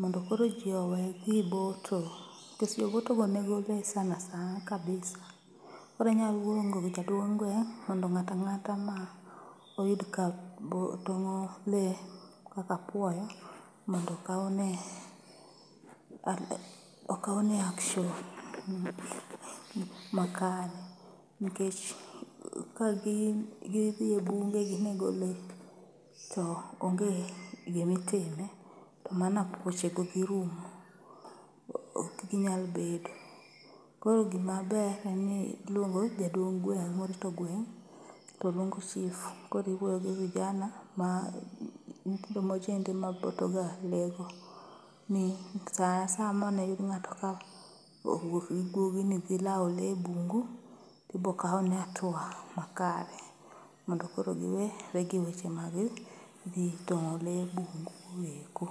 mondo kor ji owe dhi boto. Nikech jobotogo nego le sana san, kabisa. Koro inyalo luongo jaduong' gweng' gweng' mondo ng'atang'ata ma oyud ka tong'o le kaka apuoyo mondo okawne action makere. Nikech ka gin gidhi e bunge ginego le to onge gimitime to mano apuochego dhi rumo, ok ginyal bedo. Koro gimaber en ni iluongo jaduong' gweng' morito gweng', to luongo Chief. Koriwuoyo gi vijana, ma nyithindo mojende maboto ga le go. Mi sa asaya maniyud ng'ato kowuok gi guogi ni dhi lawo le e bungu, tibokawne atua makare mondo koro giwe re gi weche mag dhi tong'o le bungu eko.